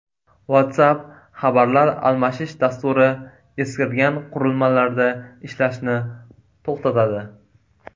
WhatsApp xabarlar almashish dasturi eskirgan qurilmalarda ishlashni to‘xtatadi.